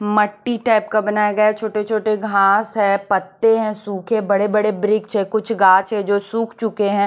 मट्टी टाईप का बनाया गया है छोटे-छोटे घास है पत्ते है सूखे बड़े-बड़े ब्रिक्च है कुछ घाछ है जो सूख चुके है।